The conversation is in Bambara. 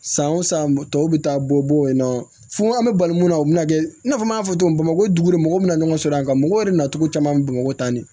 San o san tɔw bɛ taa bɔ yen nɔ fo an bɛ bali mun na o bɛna kɛ i n'a fɔ n y'a fɔ cogo min bamakɔ dugukolo mɔgɔ bɛna ɲɔgɔn sɔrɔ a kan mɔgɔw yɛrɛ nacogo caman bɛ bamakɔ tan de